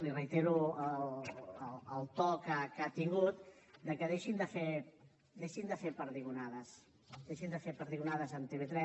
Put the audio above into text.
li reitero el to que ha tingut de que deixin de fer perdigonades deixin de fer perdigonades amb tv3